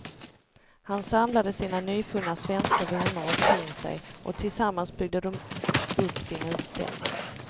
Han samlade sina nyfunna svenska vänner omkring sig och tillsammans byggde de upp sin utställning.